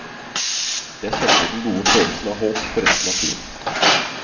Jeg kjente den gode følelsen av håp for resten av turen.